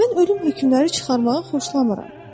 Mən ölüm hökmləri çıxarmağı xoşlamıram.